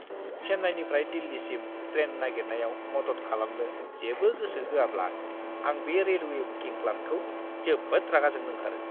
चेन्नाइनिफ्राय दिल्लीसिम ट्रेन नागिरनायाव मदद खालामनो जेबो गोसो होआब्ला आं बे रेलवे बुकिं क्लार्कखौ जोबोद रागा जोंनो ओंखारो ।